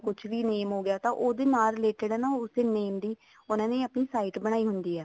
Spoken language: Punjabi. ਕੁੱਝ ਵੀ name ਹੋਗਿਆ ਤਾਂ ਉਹਦੇ ਨਾਲ related ਆ ਉਸੇ name ਦੀ ਉਹਨਾ ਨੇ ਆਪਣੀ site ਬਣਾਈ ਹੁੰਦੀ ਆ